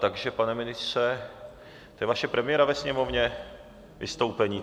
Takže pane ministře - to je vaše premiéra ve Sněmovně, vystoupení?